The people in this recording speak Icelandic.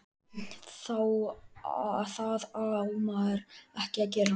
Það á maður ekki að gera.